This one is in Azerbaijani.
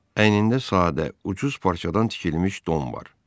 Əynində sadə, ucuz parçadan tikilmiş don var.